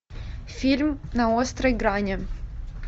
фильм на острой грани